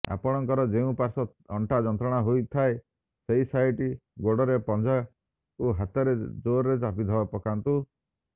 ଆପଣଙ୍କର ଯେଉଁ ପାର୍ଶ୍ୱ ଅଣ୍ଟା ଯନ୍ତ୍ରଣା ହେଉଥାଏ ସେହି ସାଇଟ୍ ଗୋଡର ପଞ୍ଝାକୁ ହାତରେ ଜୋରରେ ଚାପ ପକାନ୍ତୁ